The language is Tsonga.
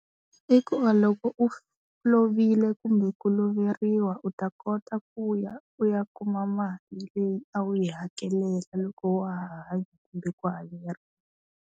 I ku va loko u lovile kumbe ku loveriwa u ta kota ku ya u ya kuma mali leyi a wu yi hakelela loko wa ha hanya kumbe ku hakeriwa.